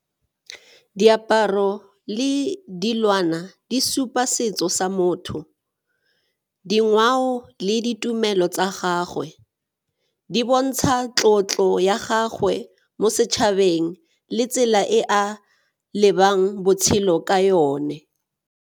Diaparo le dilwana di supa setso sa motho, dingwao le ditumelo tsa gagwe, di bontsha tlotlo ya gagwe mo setšhabeng le tsela e a lebang botshelo ka yone.